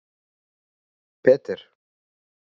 Peter